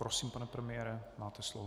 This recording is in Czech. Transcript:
Prosím, pane premiére, máte slovo.